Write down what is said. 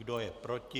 Kdo je proti?